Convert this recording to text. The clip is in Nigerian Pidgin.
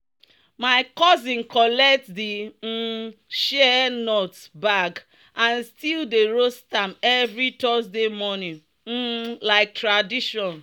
"my cousin collect di um shea nut bag and still dey roast am every thursday morning um like tradition."